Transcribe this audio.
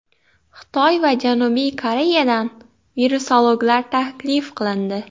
Xitoy va Janubiy Koreyadan virusologlar taklif qilindi.